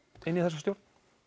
inn í þessa stjórn